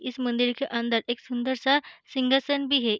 इस मंदिर के अंदर एक सुंदर सा सिंहासन भी है।